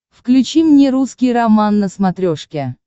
включи мне русский роман на смотрешке